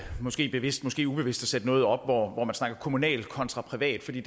måske bevidst måske ubevidst at sætte noget op hvor man snakker kommunalt kontra privat for det